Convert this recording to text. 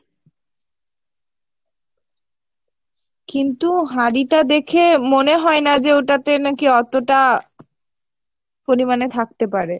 কিন্তু হাড়িটা দেখে মনে হয় না যে ওটাতে নাকি অতটা পরিমানে থাকতে পারে।